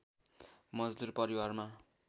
मजदुर परिवारमा